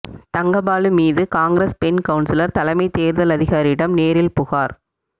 தங்கபாலு மீது காங்கிரஸ் பெண் கவுன்சிலர் தலைமை தேர்தல் அதிகாரியிடம் நேரில் புகார்